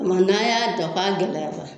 Kuma n'an y'a dɔ k'a gɛlɛyara